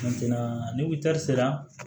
ni wuta sera